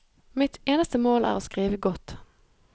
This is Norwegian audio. Mitt eneste mål er å skrive godt.